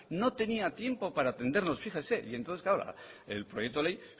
no tenía tiempo para atendernos fíjese y entonces claro el proyecto de ley